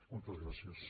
moltes gràcies